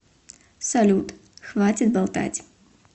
салют хватит болтать